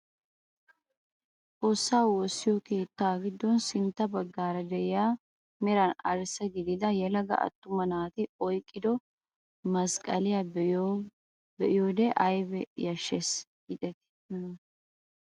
Xoossaa woossiyoo keettaa giddon sintta baggaara de'iyaa meran arssa gidida yelaga attuma naati oyqqido masqqaliyaa be'iyoode ayba yashshees gideti nuna!